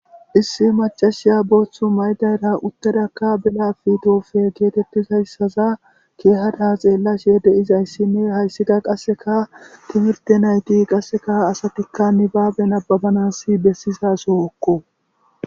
issi machashiya booththu maydayra uttadakka bela fitofe geetettizayssaza keehada xeellashe deizayssinne hayssida qasseka timirte nayti qasseka asatikka nibaaben ababanassi bessizasookko